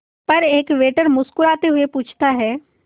पर एक वेटर मुस्कुराते हुए पूछता है